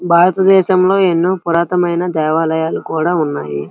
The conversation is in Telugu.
భారత దశంలో ఎనో పురాతణమైన దేవాలయాలు కూడా ఉన్నాయి.